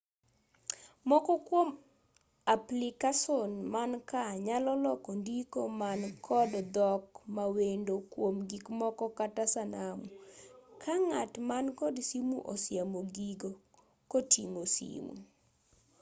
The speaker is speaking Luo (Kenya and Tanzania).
moko kuom aplicason mankaa nyalo loko ndiko man kod dhok mawendo kuom gikmoko kata sanamu ka ng'at man kod simu osiemo gigo koting'o simu